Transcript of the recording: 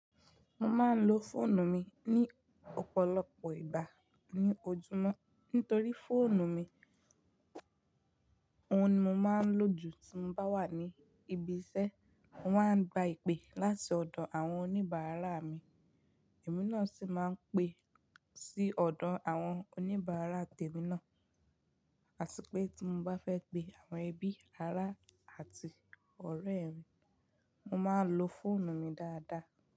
Mo máa ń lo fóònù mi ní ọ̀pọ̀lọpọ̀ ìgbà ní ojúmọ́ nítorí fóònù mi, òun ni mo máa ń lò jù tí mo bá wà ní ibi iṣẹ́. Mo máa ń gba ìpè láti ọ̀dọ̀ àwọn oníbàárà mi, èmi náà sì máa ń pè sí ọ̀dọ̀ àwọn oníbàárà tèmi náà. Àti pé tí mo bá fẹ́ pe àwọn ẹbí, ará àti ọ̀rẹ́ mi, mo máa ń lo fóònù mi dáadáa.